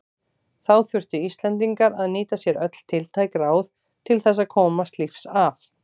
Þá þurftu Íslendingar að nýta sér öll tiltæk ráð til þess að komast lífs af.